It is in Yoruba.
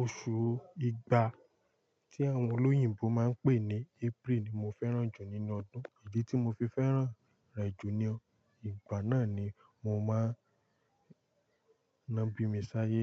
Oṣù ìgbà tí àwọn olóyìnbo máa ń pè ní April ni mo fẹ́ràn jù nínú ọdún, idi tí mo fi fẹ́ràn rẹ̀ jù ni ìgbà náà ni mo máa ń ná bí mi sáyé.